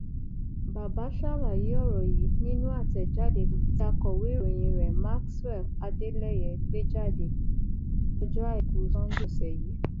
bàbá ṣàlàyé ọrọ yìí nínú àtẹjáde kan tí akọwé ìròyìn rẹ maxwell adeleye gbé jáde lọjọ àìkú sanńdé ọsẹ yìí